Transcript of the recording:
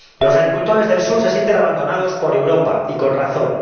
Los agricultores del sur se sienten abandonados por Europa, y con razón.